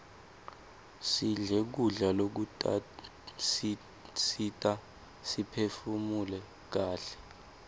sidle kudla lokutasisita siphefunule kaihle